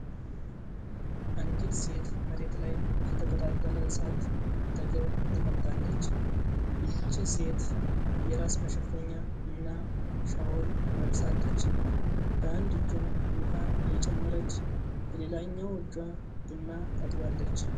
አንዲት ሴት መሬት ላይ ከተቀጣጠለ እሳት አጠገብ ተቀምጣለች። ይህቺ ሴት የራስ መሸፈኛ እና ሻውል ለብሳለች። በአንድ እጇ ዉሃ እየጨመረች በሌላኛው እጇ ቡና ታጥባለች።